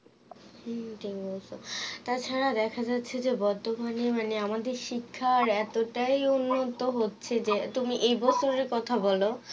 হুম ঠিক বলেছো তা ছাড়া দেখা যাচ্ছে যে বর্ধমানে মানে আমাদের শিক্ষা এতটাই লুপ্ত হচ্ছে যে তুমি এই কথা বলো